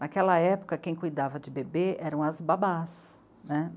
Naquela época, quem cuidava de bebê eram as babás, né.